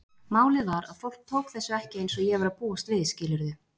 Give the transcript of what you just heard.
Málið var að fólk tók þessu ekki eins og ég var að búast við, skilurðu?